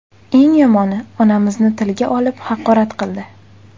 Eng yomoni, onamizni tilga olib, haqorat qildi.